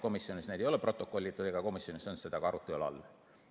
Komisjonis neid ei ole protokollitud ja komisjonis ei olnud seda ka arutelu all.